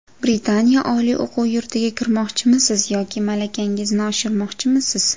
Britaniya oliy o‘quv yurtiga kirmoqchimisiz yoki malakangizni oshirmoqchimisiz?